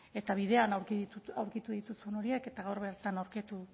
eta bidean aurkitu dituzun horiek eta gaur bertan aurkitu